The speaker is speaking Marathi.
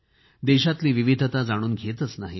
देशातली विविधता जाणून घेतच नाहीत